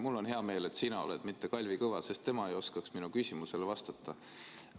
Mul on hea meel, et sina oled, mitte Kalvi Kõva, sest tema ei oskaks minu küsimusele vastata.